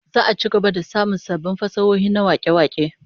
Za'a ci gaba da samun sabbin fasahohi na wake-wake